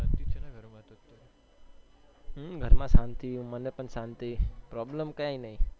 હમ્મ ઘરમાં શાંતિ મને પણ શાંતિ problem કઈ નઈ